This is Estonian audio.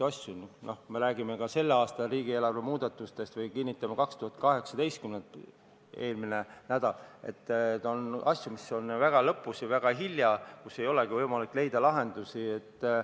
Kui me räägime ka selle aasta riigieelarve muudatustest või sellest 2018. aasta aruandest, mille me kinnitasime eelmine nädal, siis on selge, et on asju, mis toimuvad väga lõpus ja väga hilja ning ei olegi võimalik lahendusi leida.